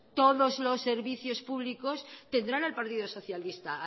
todos los servicios públicos tendrá al partido socialista